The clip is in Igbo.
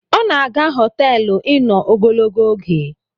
O na-aga hoteelu ino ogologo oge